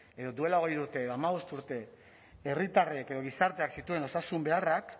edo duela hogei urte edo hamabost urte herritarrek edo gizarteak zituen osasun beharrak